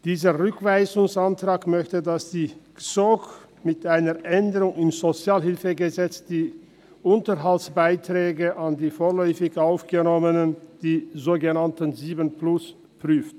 Dieser Rückweisungsantrag möchte, dass die GSoK mit einer Änderung im SHG die Unterhaltsbeiträge an die vorläufig Aufgenommenen, die sogenannten «sieben plus», prüft.